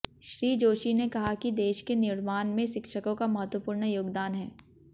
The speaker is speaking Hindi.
श्री जोशी ने कहा कि देश के निर्माण में शिक्षकों का महत्वपूर्ण योगदान है